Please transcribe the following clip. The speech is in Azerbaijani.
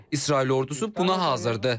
İsrail ordusu buna hazırdır.